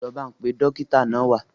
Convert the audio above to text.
Lọ bá n pe Dókítà náà wa